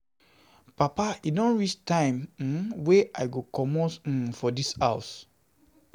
Papa e don reach the time um wey I go comot um from dis house